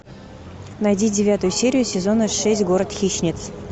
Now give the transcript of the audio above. найди девятую серию сезона шесть город хищниц